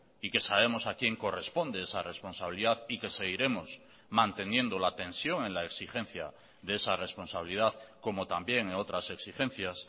y que sabemos a quién corresponde esa responsabilidad y que seguiremos manteniendo la tensión en la exigencia de esa responsabilidad como también en otras exigencias